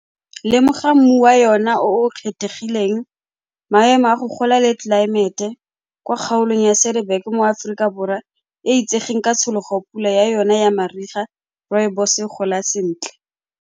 Lemoga mmu wa yona o o kgethegileng, maemo a go gola le tlelaemete kwa kgaolong ya mo Aforika Borwa e e itsegeng ka tshologo-pula ya yona ya mariga, rooibos-e e gola sentle.